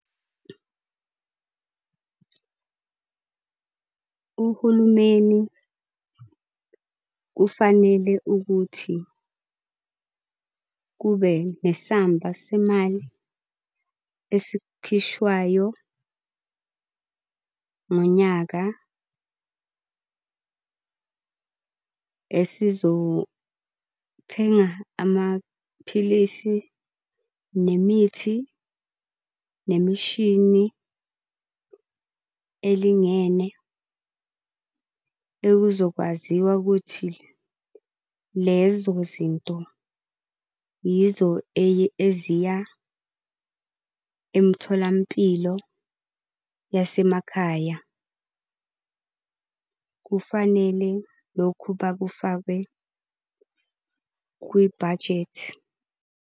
Uhulumeni kufanele ukuthi kube nesamba semali esikhishwayo ngonyaka esizothenga amaphilisi, nemithi, nemishini elingene okuzokwaziwa ukuthi lezo zinto yizo eziya emtholampilo yasemakhaya. Kufanele lokhu bakufakwe kwi-budget.